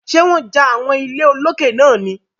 Ṣé wọ́n ja àwọn ilé olókè náà ni?